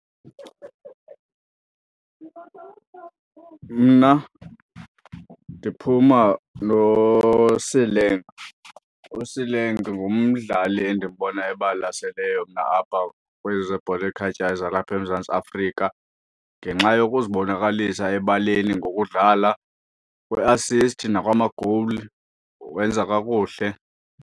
Mna ndiphuma noSaleng. USaleng ngumdlali endimbonayo obalaseleyo apha kwezi zebhola ekhatywayo zalapha eMzantsi Afrika ngenxa yokuzibonakalisa ebaleni ngokudlala, kwi-assist nakwamagowuli wenza kakuhle.